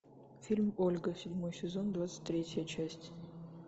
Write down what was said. фильм ольга седьмой сезон двадцать третья часть